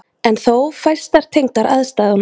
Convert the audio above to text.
En þó fæstar tengdar aðstæðunum.